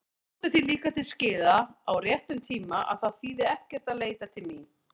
Komdu því líka til skila á réttum tíma að það þýði ekkert að leita mín.